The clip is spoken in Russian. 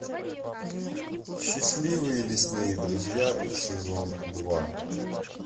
счастливые лесные друзья сезон два